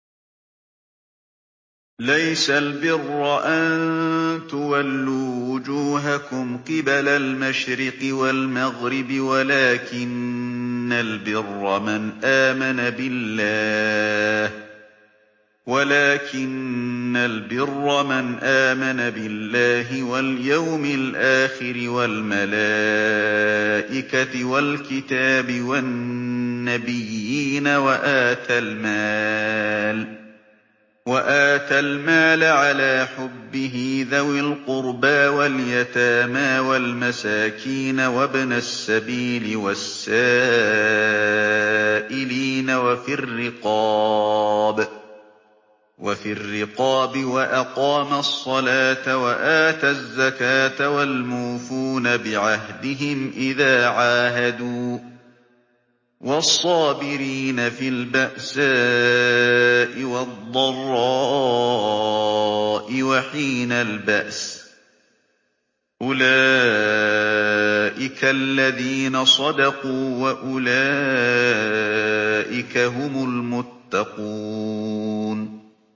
۞ لَّيْسَ الْبِرَّ أَن تُوَلُّوا وُجُوهَكُمْ قِبَلَ الْمَشْرِقِ وَالْمَغْرِبِ وَلَٰكِنَّ الْبِرَّ مَنْ آمَنَ بِاللَّهِ وَالْيَوْمِ الْآخِرِ وَالْمَلَائِكَةِ وَالْكِتَابِ وَالنَّبِيِّينَ وَآتَى الْمَالَ عَلَىٰ حُبِّهِ ذَوِي الْقُرْبَىٰ وَالْيَتَامَىٰ وَالْمَسَاكِينَ وَابْنَ السَّبِيلِ وَالسَّائِلِينَ وَفِي الرِّقَابِ وَأَقَامَ الصَّلَاةَ وَآتَى الزَّكَاةَ وَالْمُوفُونَ بِعَهْدِهِمْ إِذَا عَاهَدُوا ۖ وَالصَّابِرِينَ فِي الْبَأْسَاءِ وَالضَّرَّاءِ وَحِينَ الْبَأْسِ ۗ أُولَٰئِكَ الَّذِينَ صَدَقُوا ۖ وَأُولَٰئِكَ هُمُ الْمُتَّقُونَ